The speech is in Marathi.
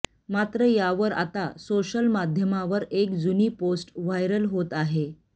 मात्र यावर आता सोशल माध्यमावर एक जुनी पोस्ट व्हायरल होत आहे